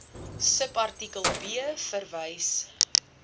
subartikel b verwys